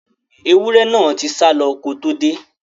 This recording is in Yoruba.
Ẹwúrẹ́ náà tí sálọ ko tó dé.